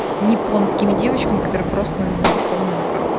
с японскими девочками которые просто нарисованные